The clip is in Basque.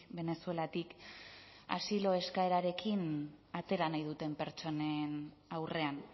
venezuelatik asilo eskaerarekin atera nahi duten pertsonen aurrean